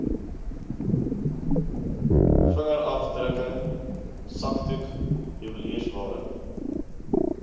vingerafdrukke sakdoek juweliersware